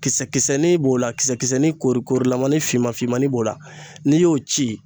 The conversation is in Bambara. Kisɛ kisɛnin b'o la, kisɛ kisɛnin kori kori korilamani finman finmani b'o la, n'i y'o ci